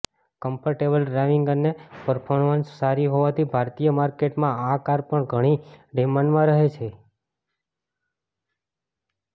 comfortable driving અને પરફોર્મન્સમાં સારી હોવાથી ભારતીય માર્કેટમાં આ કાર પણ ઘણી ડિમાન્ડમાં રહે છે